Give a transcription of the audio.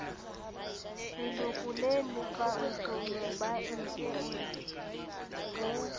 leloko le lefang tonobankeng ho